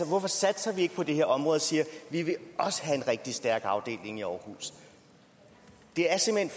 hvorfor satser vi ikke på det her område og siger vi vil også have en rigtig stærk afdeling i aarhus det er simpelt